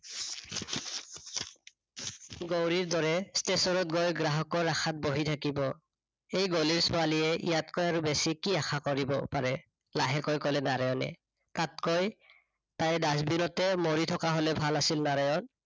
গৌৰীৰ দৰে station ত গৈ গ্ৰাহকৰ আশাত বহি থাকিব। এই গলিৰ ছোৱালীয়ে ইয়াতকৈ আৰু বেছি কি আশা কৰিব পাৰে? লাহেকৈ কলে নাৰায়ণে তাতকৈ, তাই dustbin তে মৰি থকা হয় ভাল আছিল নাৰায়ণ